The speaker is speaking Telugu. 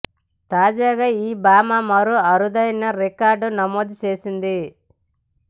తాజాగా ఈ భామ మరో అరుదైన రికార్డు నమోదు చేసింది